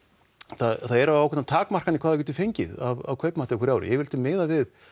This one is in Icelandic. það eru ákveðnar takmarkanir hvað við getum fengið af kaupmætti á hverju ári yfirleitt er miðað við